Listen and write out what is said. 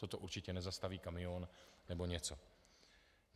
Toto určitě nezastaví kamion nebo něco.